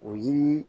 O yiri